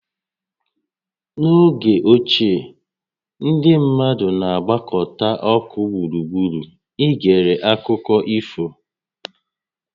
N'oge ochie, ndị mmadụ na-agbakọta ọkụ gburugburu i gere akụkọ ifo